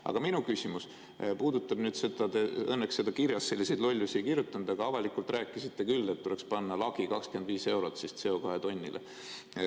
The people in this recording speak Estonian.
Aga minu küsimus puudutab seda – õnneks te kirjas selliseid lollusi ei kirjutanud, aga avalikult rääkisite küll –, et tuleks panna lagi, 25 eurot, CO2 tonnile.